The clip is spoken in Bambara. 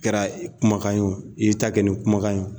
Kɛra kumakan ye i y'i ta kɛ kumakan ye.